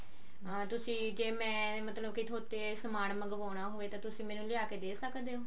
ਹਾਂ ਤੁਸੀਂ ਜੇ ਮੈਂ ਮਤਲਬ ਕੀ ਥੋਤੇ ਸਮਾਨ ਮੰਗਵਾਉਣਾ ਹੋਵੇ ਤਾਂ ਤੁਸੀਂ ਮੈਨੂੰ ਲਿਆ ਕਿ ਦੇ ਸਕਦੇ ਹੋ